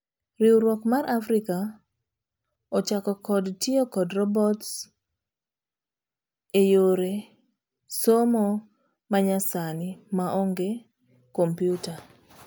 Riwruok mar Africa ochako kod tiyo kod robotseyore somo manyasani maonge kompiuta.